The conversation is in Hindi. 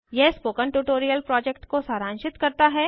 यह स्पोकन ट्यूटोरियल प्रोजेक्ट को सारांशित करता है